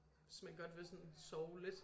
Hvis man godt vil sådan sove lidt